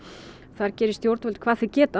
þar geri stjórnvöld hvað þau geta